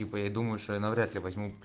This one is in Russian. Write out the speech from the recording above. типа я думаю что я навряд ли возьму